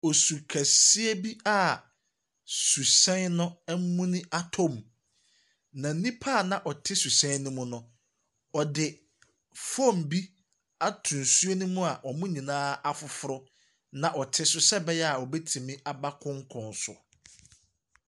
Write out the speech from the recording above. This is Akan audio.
Osu kɛseɛ bi a suhyɛn no ɛmuni atɔ mu. Na nnipa na ɔte suhyɛn no mu no, ɔde foam bi ato nsuo no mu a wɔn nyinaa afoforo na ɔte so sɛɛbɛyaa wɔbetumi aba konkɔn so.